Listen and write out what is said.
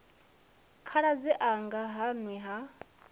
khaladzi anga ha nwi ha